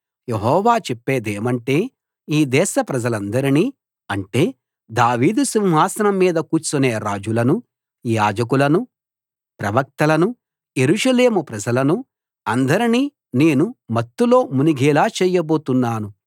యెహోవా చెప్పేదేమంటే ఈ దేశ ప్రజలందరినీ అంటే దావీదు సింహాసనం మీద కూర్చునే రాజులను యాజకులను ప్రవక్తలను యెరూషలేము ప్రజలను అందరినీ నేను మత్తులో మునిగేలా చేయబోతున్నాను